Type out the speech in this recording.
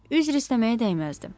Üzr istəməyə dəyməzdi.